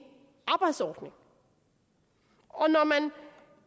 arbejdsordning når man